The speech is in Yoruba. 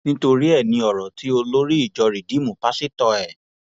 nítorí ẹ ní ọrọ tí olórí ìjọ rìdììmù páṣítọ ẹ